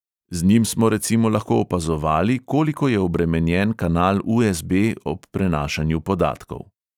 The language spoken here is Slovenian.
Z njim smo recimo lahko opazovali, koliko je obremenjen kanal u|es|be ob prenašanju podatkov.